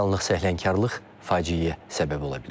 Bir anlıq səhlənkarlıq faciəyə səbəb ola bilər.